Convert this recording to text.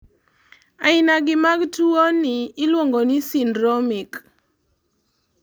ainagi mag tuwoni iluongoni syndromic